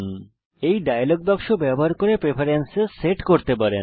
আপনি এই ডায়লগ বাক্স ব্যবহার করে প্রেফেরেন্সেস সেট করতে পারেন